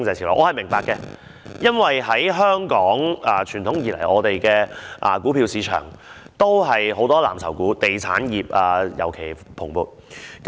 這點我是明白的，因為傳統以來，香港的股票市場都是以藍籌股為主，當中以地產業尤其蓬勃。